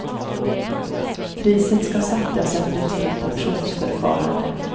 Priset ska sättas efter ett fritt auktionsförfarande.